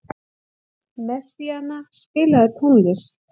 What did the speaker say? Messíana, spilaðu tónlist.